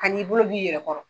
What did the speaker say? Kan'i bolo b'i yɛrɛ kɔrɔ.